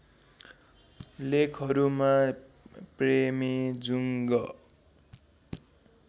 लेखहरूमा प्रेमेजुङ्ग